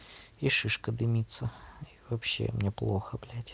и шишка дымится и вообще мне плохо бялть